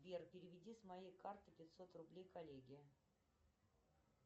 сбер переведи с моей карты пятьсот рублей коллеге